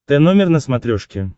тномер на смотрешке